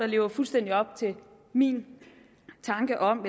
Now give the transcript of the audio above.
lever fuldstændig op til min tanke om